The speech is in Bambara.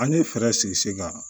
An ye fɛɛrɛ sigi sen kan